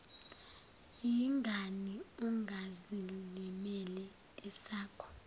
yingani ungazilimeli esakho